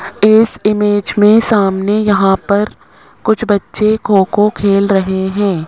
इस इमेज में सामने यहां पर कुछ बच्चे खो खो खेल रहे हैं।